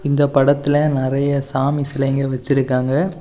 இந்த படத்துல நெறைய சாமி சிலைங்க வச்சிருக்காங்க.